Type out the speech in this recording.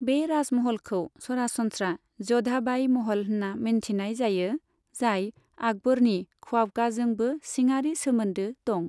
बे राजमहलखौ सरासनस्रा ज'धा बाई महल होन्ना मिन्थिनाय जायो, जाय आकबरनि खवाबगाजोंबो सिङारि सोमोन्दो दं।